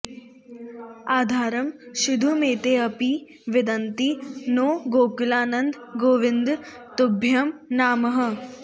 आधरं शीधुमेतेऽपि विन्दन्ति नो गोकुलानन्द गोविन्द तुभ्यं नामः